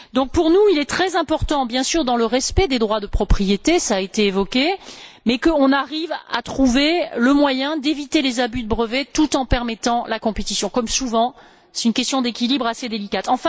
Pour nous, il est donc très important bien sûr dans le respect des droits de propriété, cela a été évoqué que nous arrivions à trouver le moyen d'éviter les abus de brevet tout en permettant la concurrence. Comme souvent, c'est une question d'équilibre assez délicate.